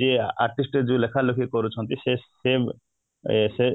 ଯିଏ artist ଯିଏ ଲେଖା ଲେଖି କରୁଛନ୍ତି ସେ